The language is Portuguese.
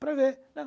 Para ver, né.